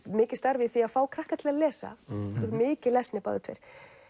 mikið starf í því að fá krakka til að lesa mikið lesnir báðir tveir